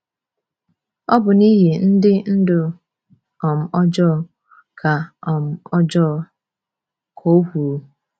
“Ọ bụ n’ihi ndị ndu um ọjọọ,” ka um ọjọọ,” ka o kwuru.